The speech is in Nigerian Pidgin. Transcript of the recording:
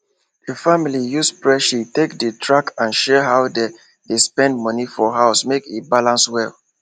di family use spreadsheet take dey track and share how dem dey spend money for house make e balance well